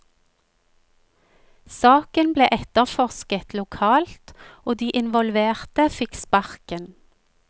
Saken ble etterforsket lokalt, og de involverte fikk sparken.